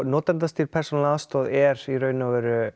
notendastýrð persónuleg aðstoð er í rauninni